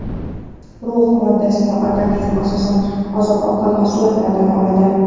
Rux moddasini organizm asosan oziq-ovqat mahsulotlaridan oladi.